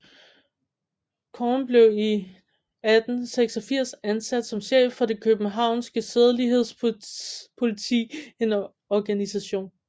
Korn blev i 1886 ansat som chef for det københavnske sædelighedspoliti en organisation